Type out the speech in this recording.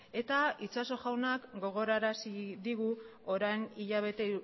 eta itxaso jaunak gogorarazi digu orain hilabete